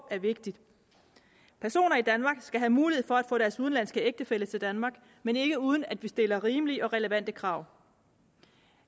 er vigtigt personer i danmark skal have mulighed for at få deres udenlandske ægtefælle til danmark men ikke uden at vi stiller rimelige og relevante krav